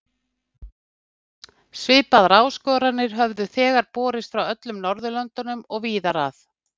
Svipaðar áskoranir höfðu þegar borist frá öllum Norðurlöndum og víðar að.